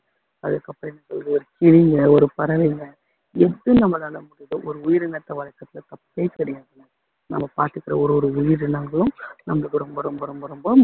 அதுக்கப்புறம் என்ன சொல்றது கிளிங்க ஒரு பறவைங்க எது நம்மளால முடியுதோ ஒரு உயிரினத்தை வளர்க்குறதுல தப்பே கிடையாதுங்க நம்ம பாத்துக்குற ஒரு ஒரு உயிரினங்களும் நம்மளுக்கு ரொம்ப ரொம்ப ரொம்ப ரொம்ப